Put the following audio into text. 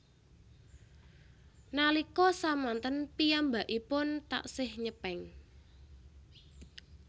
Nalika samanten piyambakipun taksih nyepeng